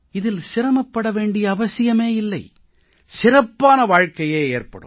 இதில் சிரமப்பட வேண்டிய அவசியமே இல்லை சிறப்பான வாழ்க்கையே ஏற்படும்